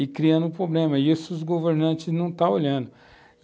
e criando um problema, e isso os governantes não estão olhando.